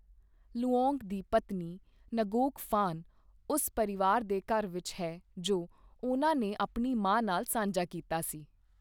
Luong ਦੀ ਪਤਨੀ, Ngoc Phan, ਉਸ ਪਰਿਵਾਰ ਦੇ ਘਰ ਵਿੱਚ ਹੈ ਜੋ ਉਹਨਾਂ ਨੇ ਆਪਣੀ ਮਾਂ ਨਾਲ ਸਾਂਝਾ ਕੀਤਾ ਸੀ।